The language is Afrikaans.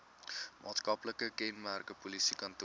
maatskaplike kenmerke polisiekantore